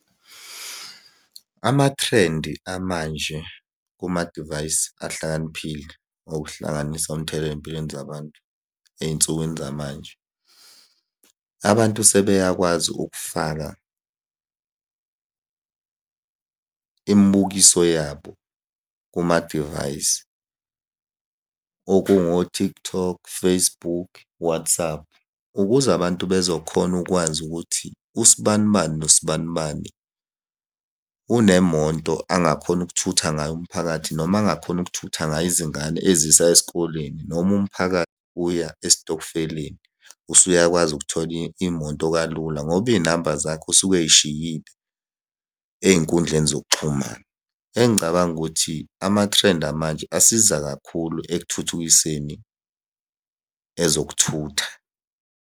Amathrendi amanje kumadivayisi ahlakaniphile, okuhlanganisa umthelela ey'mpilweni zabantu ey'nsukwini zamanje. Abantu sebeyakwazi ukufaka imibukiso yabo kumadivayisi, okungo-TikTok, Facebook, WhatsApp, ukuze abantu bezo khona ukwazi ukuthi usibani bani nosibani bani, unemoto angakhona ukuthutha ngayo umphakathi noma angakhona ukuthutha ngayo izingane ezisa esikoleni noma umphakathi uya esitokfeleni. Usuyakwazi ukuthola imoto kalula ngoba iy'namba zakhe usuke ey'shiyile ey'nkundleni zokuxhumana. Engicabanga ukuthi amathrendi amanje asiza kakhulu ekuthuthukiseni ezokuthutha.